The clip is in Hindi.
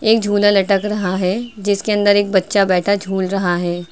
एक झूला लटक रहा है जिसके अंदर एक बच्चा बैठा झूल रहा है।